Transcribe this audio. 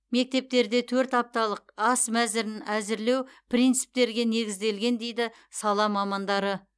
мектептерде төрт апталық ас мәзірін әзірлеу принциптерге негізделген дейді сала мамандары